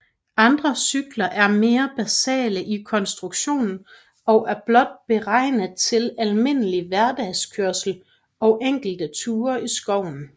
Andre cykler er mere basale i konstruktionen og er blot beregnet til almindelig hverdagskørsel og enkelte ture i skoven